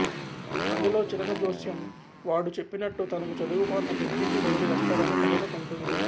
పల్లెలో చిలక జ్యోస్యం వాడు చెప్పినట్టు తనకు చదువుకొన్న పెద్దింటి వరుడు వస్తాడని కలలు కంటుంది